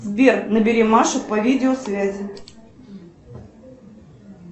сбер набери машу по видеосвязи